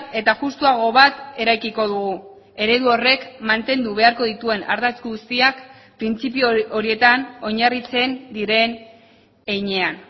eta justuago bat eraikiko dugu eredu horrek mantendu beharko dituen ardatz guztiak printzipio horietan oinarritzen diren heinean